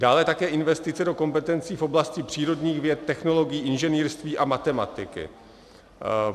Dále také investice do kompetencí v oblasti přírodních věd, technologií, inženýrství a matematiky.